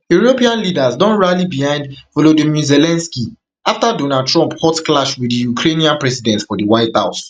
european leaders don rally behind volodymyr zelensky afta donald trump hot clash wit di ukrainian president for di white house